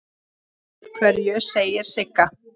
Af hverju, segir Sigga.